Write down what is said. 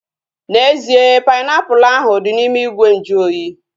N'ezie, painiapulu ahu dị n'ime ìgwè nju oyi